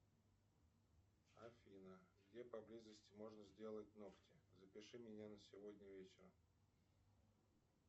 афина где поблизости можно сделать ногти запиши меня на сегодня вечером